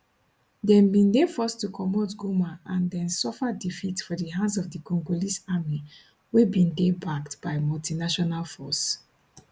dem bin dey forced to comot goma and den suffer defeats for di hands of di congolese army wey bin dey backed by multinational force